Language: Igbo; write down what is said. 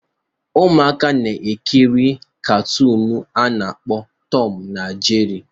Ụmụaka na-ekiri katụụnu a na-akpọ tọm na jeri